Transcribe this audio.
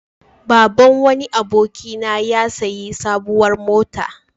Baban wani abokina ya sayi sabuwar mota.